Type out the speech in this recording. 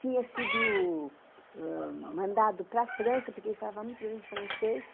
tinha sido ãh mandado para a França, porque ele falava muito bem francês.